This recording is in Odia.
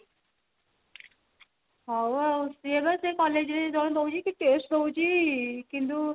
ହଉ ଆଉ ସିଏ ଏବେ ସେଇ collage ରେ ହିଁ ଦଉଛି କି taste ଦଉଛି କିନ୍ତୁ